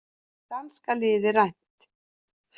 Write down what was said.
Danska liðið rænt